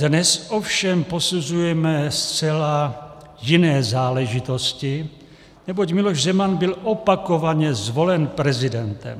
Dnes ovšem posuzujeme zcela jiné záležitosti, neboť Miloš Zeman byl opakovaně zvolen prezidentem.